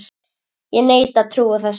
Ég neita að trúa þessu!